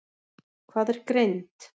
Hvað er greind?